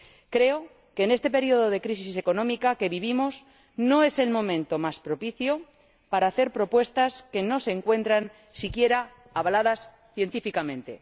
Creo que este período de crisis económica que vivimos no es el momento más propicio para hacer propuestas que no se encuentran siquiera avaladas científicamente.